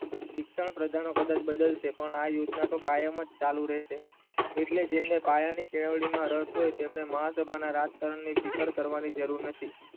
શિક્ષણ પ્રદહગાન પદાર્થ બદલશે પણ આ યોજના તો કાયમ જ ચાલુ રહેશે એટલે જેમને પાયાની કેળવણીમાં રસ હોય તેમને મહાપોતાને રાજકારણે પીપર કરવાની જરૂર નથી